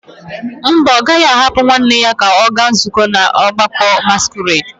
Mba, ọ gaghị ahapụ nwanne ya ka ọ gaa nzukọ ọgbakọ masquerade.